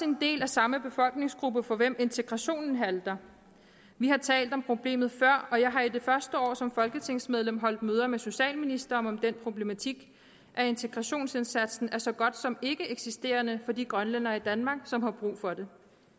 en del af samme befolkningsgruppe for hvem integrationen halter vi har talt om problemet før og jeg har i det første år som folketingsmedlem holdt møder med socialministeren om den problematik at integrationsindsatsen er så godt som ikkeeksisterende for de grønlændere i danmark som har brug for det